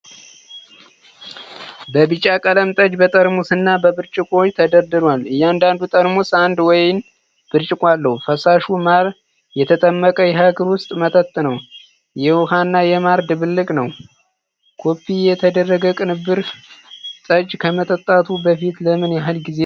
የቢጫ ቀለም ጠጅ በጠርሙስና በብርጭቆዎች ተደርድሯል። እያንዳንዱ ጠርሙስ አንድ ወይን ብርጭቆ አለው። ፈሳሹ ማር የተጠመቀ የሀገር ውስጥ መጠጥ ነው። የውኃና የማር ድብልቅ ነው። ኮፒ የተደረገ ቅንብር። ጠጅ ከመጠጣቱ በፊት ለምን ያህል ጊዜ ተቀምጦ ይቆያል?